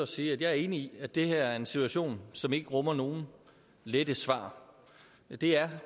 sige at jeg er enig i at det her er en situation som ikke rummer nogen lette svar det er